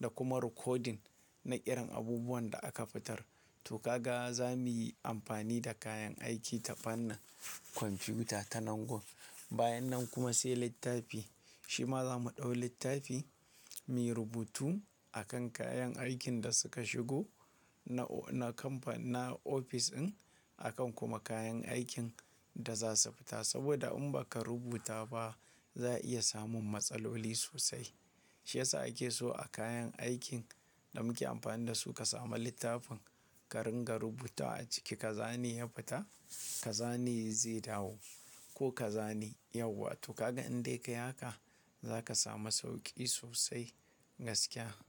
da kuma recording na irin abubuwan da aka fitar. To ka ga za muyi amfani da kayan aiki ta fannin kwamfuta ta nan gon. Bayan nan kuma sai littafi, shi ma za mu ɗau littafi muyi rubutu akan kayan aikin da suka shigo na o-- na kamfan-- na ofis din. Akan kuma kayan aikin da za su fita saboda in baka rubuta ba za a iya samun matsaloli sosai. Shi yasa ake so a kayan aikin da muke amfani da su ka samu littafin ka ringa rubuta a ciki ka zane ya fita, ka zane ya yi zidawo ko ka zane yawa. To ka ga in dai ka yi haka za ka samu sauƙi sosai gaskiya.